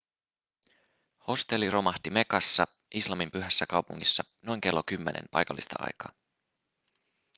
hostelli romahti mekassa islamin pyhässä kaupungissa noin kello 10 paikallista aikaa